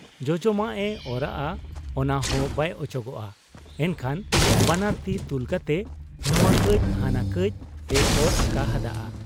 ᱡᱚᱡᱚᱢᱟᱜ ᱮ ᱚᱨᱟᱜ ᱟ ᱚᱱᱟᱦᱚᱸ ᱵᱟᱭ ᱚᱪᱚᱜᱚᱜ ᱟ ᱾ ᱮᱱᱠᱷᱟᱱ ᱵᱟᱱᱟᱨ ᱛᱤ ᱛᱩᱞᱠᱟᱛᱮ ᱱᱚᱣᱟ ᱠᱟᱹᱡ ᱦᱟᱱᱟ ᱠᱟᱹᱡ ᱮ ᱚᱨ ᱟᱠᱟ ᱦᱟᱫ ᱟ ᱾